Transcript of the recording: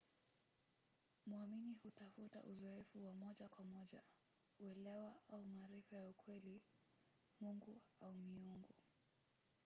mwamini hutafuta uzoefu wa moja kwa moja uelewa au maarifa ya ukweli/mungu au miungu